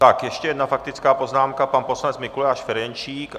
Tak ještě jedna faktická poznámka, pan poslanec Mikuláš Ferjenčík.